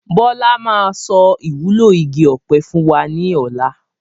Bọlá máa sọ ìwúlò igi ọ̀pẹ fún wa ní ọ̀la.